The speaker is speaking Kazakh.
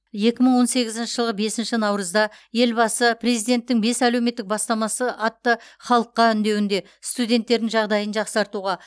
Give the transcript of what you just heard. екі мың он сегізінші жылғы бесінші наурызда елбасы президенттің бес әлеуметтік бастамасы атты халыққа үндеуінде студенттердің жағдайын жақсартуға